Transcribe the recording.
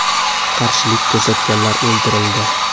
Qarshilik ko‘rsatganlar o‘ldirildi.